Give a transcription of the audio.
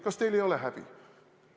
Kas teil ei ole häbi?